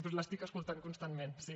perquè l’estic escoltant constantment sí